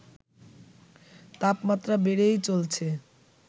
তাপমাত্রা বেড়েই চলছে